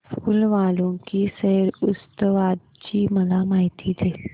फूल वालों की सैर उत्सवाची मला माहिती दे